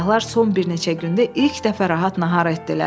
Səyahlar son bir neçə gündə ilk dəfə rahat nahar etdilər.